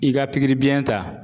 I ka biyɛn ta.